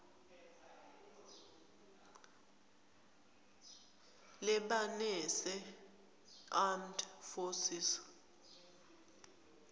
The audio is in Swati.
lebanese armed forces